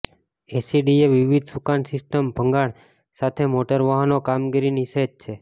SDA વિવિધ સુકાન system ભંગાણ સાથે મોટર વાહનો કામગીરી નિષેધ છે